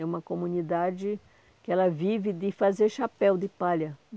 É uma comunidade que ela vive de fazer chapéu de palha.